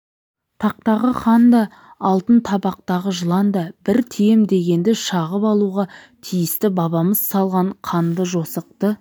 тақтағы хан да алтын табақтағы жылан да бір тием дегенді шағып алуға тиісті бабамыз салған қанды-жосықты